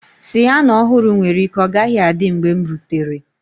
Siyana ọhụrụ nwere ike ọ gaghị adị mgbe m rutere.